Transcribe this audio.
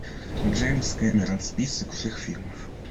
джеймс кемерон список всех фильмов